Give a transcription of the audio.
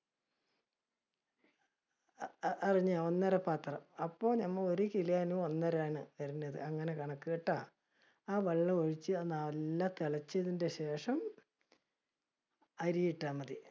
അഹ് അതിന് ഒന്നര പാത്രം. അപ്പോ നമ്മ ഒരു kilo ന് ഒന്നര ആണ് വരണത് അങ്ങനെ കണക്ക്ട്ടാ. ആ വെള്ളം ഒഴിച്ച് നല്ല തിളച്ചതിന്റെ ശേഷം, അരി ഇട്ടാ മതി